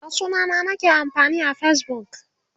da sunana nake amfani a Facebook